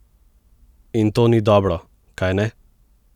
In to ni dobro, kajne?